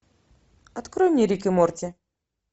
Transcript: открой мне рик и морти